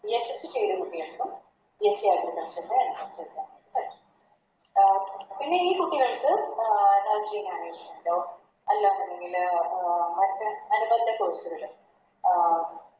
ചെയ്ത കുട്ടികൾക്കും തീർച്ചയായിട്ടും Agriculture ൻറെ Entrance എഴുതാൻ വേണ്ടി പറ്റും പിന്നെ ഈ കുട്ടികൾക്ക് Delhi management ഓ അല്ലാന്നുണ്ടെങ്കില് അഹ് മറ്റെ അഹ്